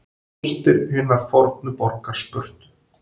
Rústir hinnar fornu borgar Spörtu.